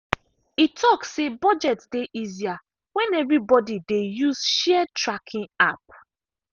e talk say budget dey easier when everybody dey use shared tracking app.